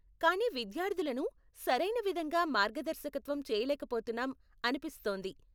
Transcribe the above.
కానీ విద్యార్ధులను సరైన విధంగా మార్గదర్శకత్వం చేయలేక పోతున్నాం అనిపిస్తోంది.